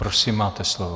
Prosím, máte slovo.